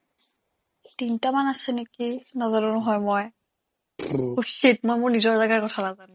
তিনটামান আছে নেকি নাজানো নহয় মই shit মই মোৰ নিজৰ জেগাৰ কথা নাজানো